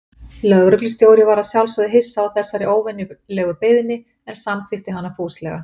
Lögreglustjóri var að sjálfsögðu hissa á þessari óvenjulegu beiðni, en samþykkti hana fúslega.